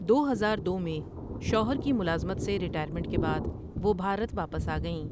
دو ہزار دو میں شوہر کی ملازمت سے ریٹائرمنٹ کے بعد وہ بھارت واپس آ گئیں ۔